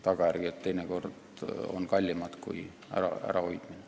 Tagajärjed lähevad teinekord kallimaks maksma kui millegi ärahoidmine.